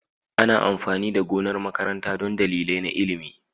Ana amfani da gonar makaranta don dalilai na ilimi.